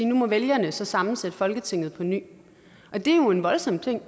nu må vælgerne sammensætte folketinget på ny og det er jo en voldsom ting